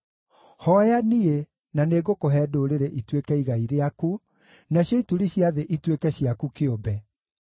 Hooya niĩ, na nĩngũkũhe ndũrĩrĩ ituĩke igai rĩaku, nacio ituri cia thĩ ituĩke ciaku kĩũmbe.